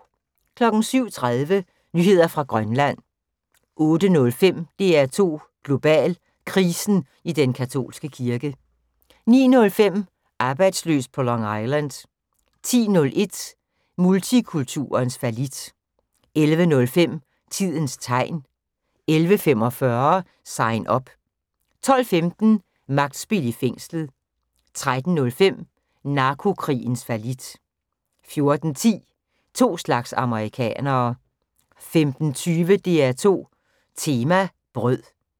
07:30: Nyheder fra Grønland 08:05: DR2 Global: Krisen i den katolske kirke 09:05: Arbejdsløs på Long Island 10:01: Multikulturens fallit 11:05: Tidens Tegn 11:45: Sign Up 12:15: Magtspil i fængslet 13:05: Narkokrigens fallit 14:10: To slags amerikanere 15:20: DR2 Tema: Brød